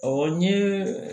Ɔ n ye